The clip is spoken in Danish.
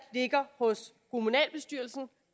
ligger hos kommunalbestyrelsen